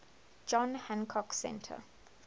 john hancock center